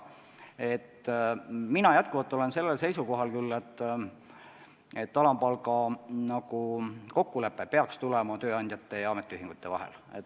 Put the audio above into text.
Mina olen seisukohal, et alampalga kokkulepe tuleks sõlmida tööandjate ja ametiühingute vahel.